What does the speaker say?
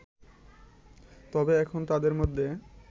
তবে এখন তাদের মধ্যে